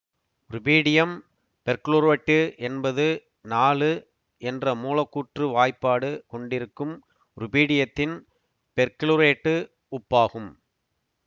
rubidium perchlorate என்பது நாலு என்ற மூலக்கூற்று வாய்ப்பாடு கொண்டிருக்கும் ருபீடியத்தின் பெர்குளோரேட்டு உப்பாகும்